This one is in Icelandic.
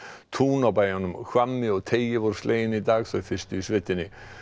tún á bæjunum Hvammi og teigi voru slegin í dag þau fyrstu í sveitinni